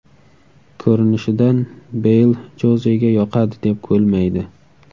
Ko‘rinishidan, Beyl Jozega yoqadi deb bo‘lmaydi.